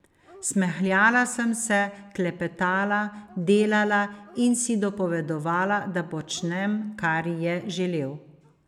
Smehljala sem se, klepetala, delala in si dopovedovala, da počnem, kar je želel.